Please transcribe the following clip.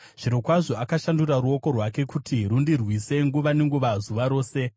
zvirokwazvo, akashandura ruoko rwake kuti rundirwise nguva nenguva, zuva rose.